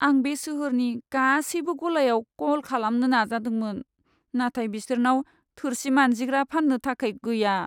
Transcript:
आं बे सोहोरनि गासैबो गलायाव कल खालामनो नाजादोंमोन, नाथाय बिसोरनाव थोरसि मानजिग्रा फान्नो थाखाय गैया।